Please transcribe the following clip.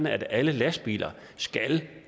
at alle lastbiler skal